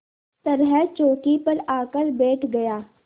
तरह चौकी पर आकर बैठ गया